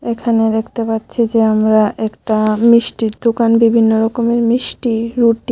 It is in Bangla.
এখানে দেখতে পাচ্ছি যে আমরা একটা মিষ্টির দোকান বিভিন্ন রকমের মিষ্টি রুটি--